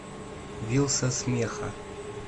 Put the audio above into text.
вилса смеха